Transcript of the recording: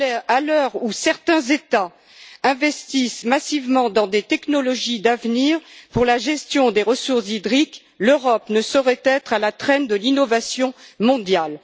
À l'heure où certains États investissent massivement dans des technologies d'avenir pour la gestion des ressources hydriques, l'Europe ne saurait être à la traîne de l'innovation mondiale.